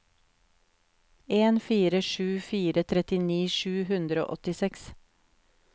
en fire sju fire trettini sju hundre og åttiseks